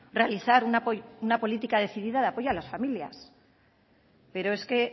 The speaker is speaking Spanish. realizar una política decidida de apoyo a las familias pero es que